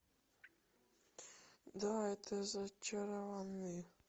да это зачарованные